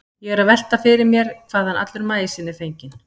Ég er því að velta fyrir mér hvaðan allur maísinn er fenginn.